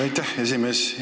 Aitäh, esimees!